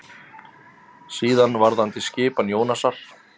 Síðan varðandi skipan Jónasar.